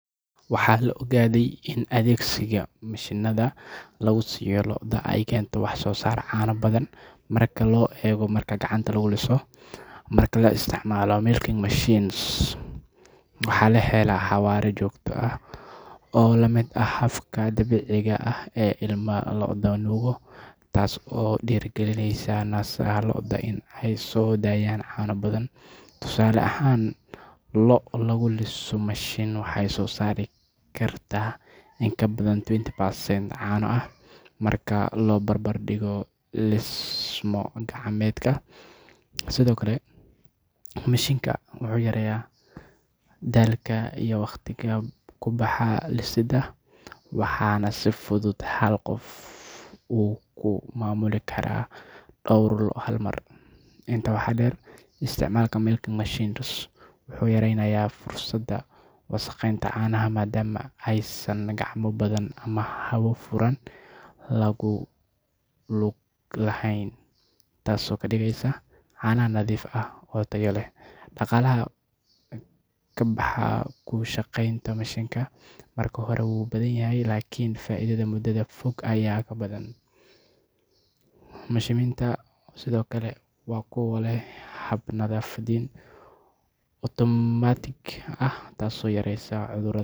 Waxaa la ogaaday in adeegsiga mashiinnada lagu liso lo’da ay keento wax-soo-saar caano badan marka loo eego marka gacanta lagu liso. Marka la isticmaalo milking machines, waxaa la helaa xawaare joogto ah oo la mid ah habka dabiiciga ah ee ilma lo’da nuugo, taas oo dhiirrigelisa naasaha lo’da in ay soo dayaan caano badan. Tusaale ahaan, lo’ lagu liso mashiin waxay soo saari kartaa in ka badan twenty percent caano ah marka loo barbar dhigo liso-gacmeedka. Sidoo kale, mashiinka wuxuu yareeyaa daalka iyo waqtiga ku baxa lisidda, waxaana si fudud hal qof uu ku maamuli karaa dhowr lo’ ah hal mar. Intaa waxaa dheer, isticmaalka milking machines wuxuu yaraynayaa fursadda wasakheynta caanaha maadaama aysan gacmo badan ama hawo furan ku lug lahayn, taasoo ka dhigaysa caanaha nadiif ah oo tayo leh. Dhaqaalaha ka baxa ku shaqeynta mashiinka marka hore wuu badan yahay, laakiin faa’iidada muddada fog ayaa ka badan. Mashiinnada sidoo kale waa kuwo leh hab-nadiifin otomaatig ah taasoo yareysa cudurrada.